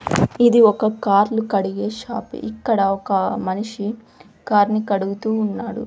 ఇది ఒక కార్లు కడిగే షాపు ఇది ఇక్కడ ఒక మనిషి కార్ ని కడుగుతూ ఉన్నాడు.